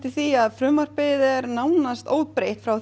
því að frumvarpið er nánast óbreytt frá